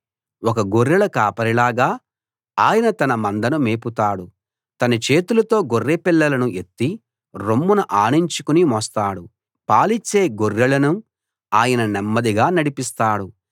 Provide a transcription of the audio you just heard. ఒక గొర్రెల కాపరిలాగా ఆయన తన మందను మేపుతాడు తన చేతులతో గొర్రెపిల్లలను ఎత్తి రొమ్మున ఆనించుకుని మోస్తాడు పాలిచ్చే గొర్రెలను ఆయన నెమ్మదిగా నడిపిస్తాడు